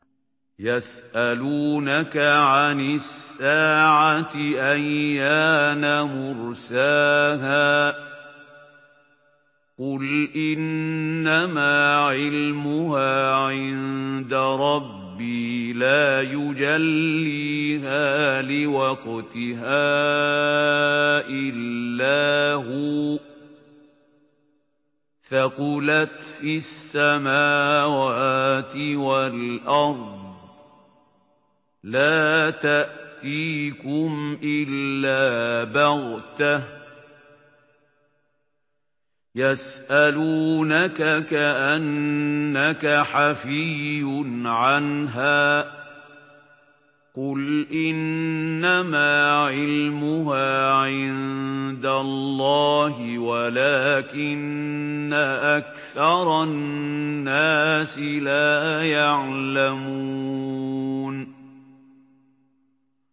يَسْأَلُونَكَ عَنِ السَّاعَةِ أَيَّانَ مُرْسَاهَا ۖ قُلْ إِنَّمَا عِلْمُهَا عِندَ رَبِّي ۖ لَا يُجَلِّيهَا لِوَقْتِهَا إِلَّا هُوَ ۚ ثَقُلَتْ فِي السَّمَاوَاتِ وَالْأَرْضِ ۚ لَا تَأْتِيكُمْ إِلَّا بَغْتَةً ۗ يَسْأَلُونَكَ كَأَنَّكَ حَفِيٌّ عَنْهَا ۖ قُلْ إِنَّمَا عِلْمُهَا عِندَ اللَّهِ وَلَٰكِنَّ أَكْثَرَ النَّاسِ لَا يَعْلَمُونَ